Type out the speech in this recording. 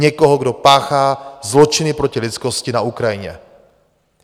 Někoho, kdo páchá zločiny proti lidskosti na Ukrajině.